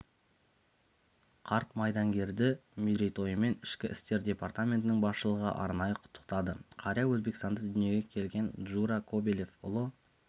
қарт майдангерді мерейтойымен ішкі істер департаментінің басшылығы арнайы құттықтады қария өзбекстанда дүние келген джура кобелев ұлы